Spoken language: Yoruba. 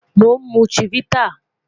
Mo n mu Chivita